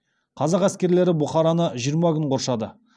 қазақ әскерлері бұхараны жиырма күн қоршады